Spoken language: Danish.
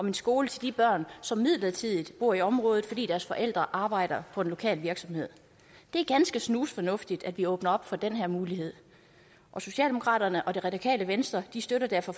en skole til de børn som midlertidigt bor i området fordi deres forældre arbejder på en lokal virksomhed det er ganske snusfornuftigt at vi åbner op for den her mulighed og socialdemokraterne og det radikale venstre støtter derfor